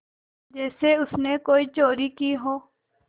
जैसे उसने कोई चोरी की हो